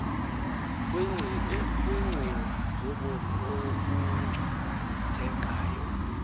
kwiincwina zobomi obungcunguthekayo